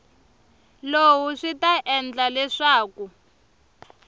lowu swi ta endla leswaku